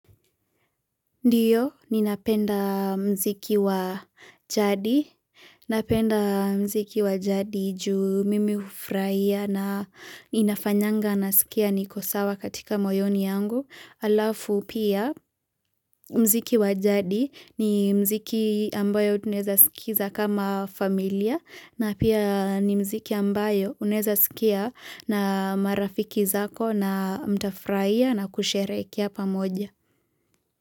Ndiyo ni napenda mziki wa jadi Napenda mziki wa jadi juu mimi ufraia na inafanyanga na sikia nikosawa katika moyoni mwangu alafu pia Mziki wa jadi ni mziki ambayo tunaeza sikiza kama familia na pia ni mziki ambayo uneza sikia na marafiki zako na mtafraia na kusherekia pamoja.